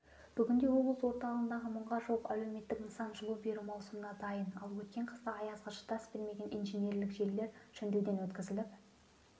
бүгінде облыс орталығындағы мыңға жуық әлеуметтік нысан жылу беру маусымына дайын ал өткен қыста аязға шыдас бермеген инженерлік желілер жөндеуден өткізіліп